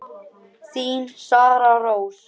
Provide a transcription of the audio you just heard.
Þín, Sara Rós.